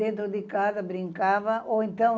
Dentro de casa brincava ou então...